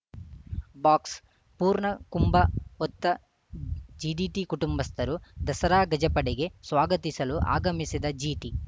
box ಪೂರ್ಣಕುಂಭ ಹೊತ್ತ GTD ಕುಟುಂಬಸ್ಥರು ದಸರಾ ಗಜಪಡೆಗೆ ಸ್ವಾಗತಿಸಲು ಆಗಮಿಸಿದ ಜಿಟಿ